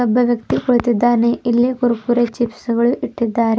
ಒಬ್ಬ ವ್ಯಕ್ತಿ ಕುಳಿತಿದ್ದಾನೆ ಇಲ್ಲಿ ಕುರ್ಕುರೆ ಚಿಪ್ಸ್ ಗಳು ಇಟ್ಟಿದ್ದಾರೆ.